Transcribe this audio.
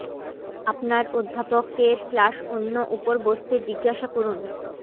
আপনার অধ্যাপক এর ক্লাস অন্য উপর বসতে জিজ্ঞাসা করুন